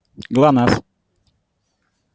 глонассс